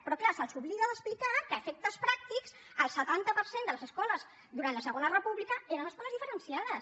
però clar se’ls oblida d’explicar que a efectes pràctics el setanta per cent de les escoles durant la segona república eren escoles diferenciades